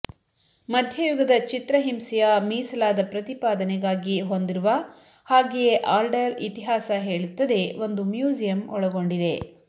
ಮಧ್ಯಯುಗದ ಚಿತ್ರಹಿಂಸೆಯ ಮೀಸಲಾದ ಪ್ರತಿಪಾದನೆಗಾಗಿ ಹೊಂದಿರುವ ಹಾಗೆಯೇ ಆರ್ಡರ್ ಇತಿಹಾಸ ಹೇಳುತ್ತದೆ ಒಂದು ಮ್ಯೂಸಿಯಂ ಒಳಗೊಂಡಿದೆ